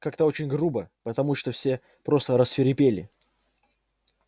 как-то очень грубо потому что все просто рассвирепели